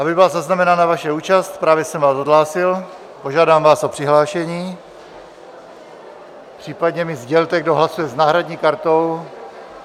Aby byla zaznamenána vaše účast, právě jsem vás odhlásil, požádám vás o přihlášení, případně mi sdělte, kdo hlasuje s náhradní kartou.